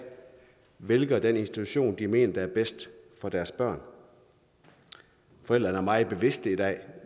vælger den institution de mener er bedst for deres børn forældrene er meget bevidste i dag